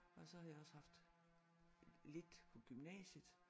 Og så har jeg også haft lidt på gymnasiet